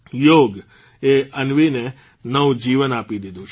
યોગ એ અન્વીને નવું જીવન આપી દીધું છે